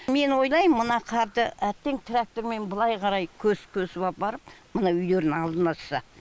мен ойлам мына қарды әбден трактормен былай қарай көсіп көсіп апарып мына үйлердің алдын ашса